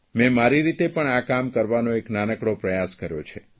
મેં મારી રીતે પણ આ કામ કરવાનો એક નાનકડો પ્રયાસ કર્યો છે